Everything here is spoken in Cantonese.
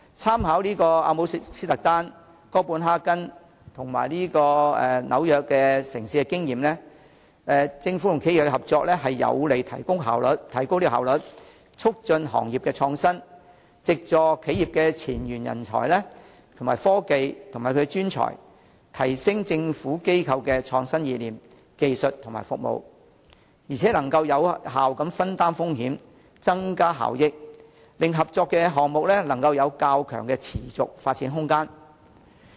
參考阿姆斯特丹、哥本哈根和紐約等城市的經驗，政府和企業合作將有利提高效率，促進行業創新，藉助企業的前沿人才、科技和專長，提升政府機構的創新意念、技術和服務，並能有效分擔風險，增加效益，令合作項目能有較強的持續發展空間。